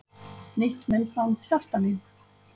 Nýtt myndband Hjaltalín